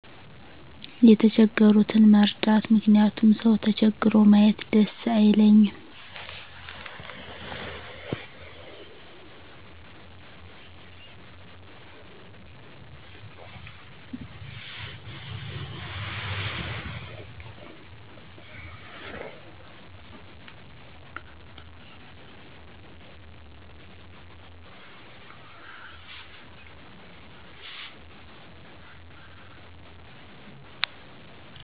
የተቸገሩትን መርዳት ምክንያቱም ሰው ተቸግሮ ማየት ደስ አይለኝም።